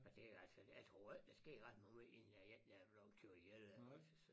Og det altså jeg tror ikke der sker ret mange inden der er en der er blevet kørt ihjel eller også så